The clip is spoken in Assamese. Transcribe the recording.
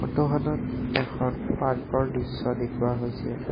ফটোখনত এখন পাৰ্কৰ দৃশ্য দেখুৱা হৈছে।